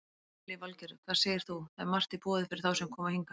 Lillý Valgerður: Hvað segir þú, það er margt í boði fyrir þá sem koma hingað?